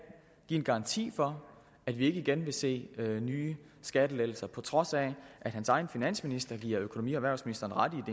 give en garanti for at vi ikke igen vil se nye skattelettelser på trods af at hans egen finansminister giver økonomi og erhvervsministeren ret i at